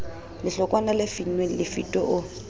lehlokwana le finnweng lefito o